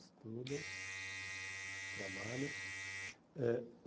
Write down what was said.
Estudam, trabalham. Eh